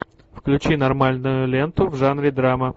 включи нормальную ленту в жанре драма